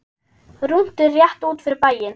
Rúntur rétt út fyrir bæinn.